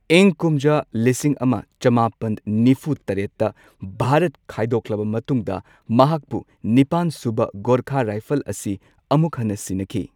ꯏꯪ ꯀꯨꯝꯖꯥ ꯂꯤꯁꯤꯡ ꯑꯃ ꯆꯃꯥꯄꯟ ꯅꯤꯐꯨ ꯇꯔꯦꯠꯇ ꯚꯥꯔꯠ ꯈꯥꯏꯗꯣꯛꯂꯕ ꯃꯇꯨꯡꯗ ꯃꯍꯥꯛꯄꯨ ꯅꯤꯄꯥꯟ ꯁꯨꯕ ꯒꯣꯔꯈꯥ ꯔꯥꯏꯐꯜꯁ ꯑꯁꯤ ꯑꯃꯨꯛ ꯍꯟꯅ ꯁꯤꯟꯅꯈꯤ꯫